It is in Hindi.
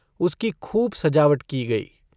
उसकी खूब सजावट की गई।